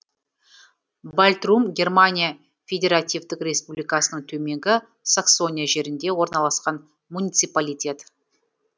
бальтрум германия федеративтік республикасының төменгі саксония жерінде орналасқан муниципалитет